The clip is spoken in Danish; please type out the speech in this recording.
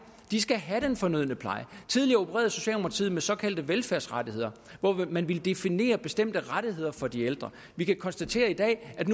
skal have den fornødne pleje tidligere opererede socialdemokratiet med såkaldte velfærdsrettigheder hvor man ville definere bestemte rettigheder for de ældre vi kan konstatere i dag at